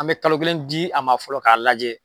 An bɛ kalo kelen di a ma fɔlɔ k'a lajɛ.